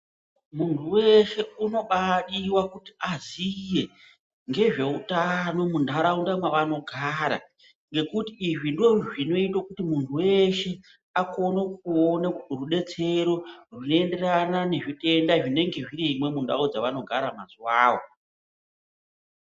Munhu weshe unobadiwa kuti aziye ngezveutano munharaunda mwavanogara ngekuti izvi ndozvinoita kuti munhu weshe akone kuona rudetsero runoenderana nezvitenda zvinenge zvirimwo munharaunda dzavanogara mazuwavo.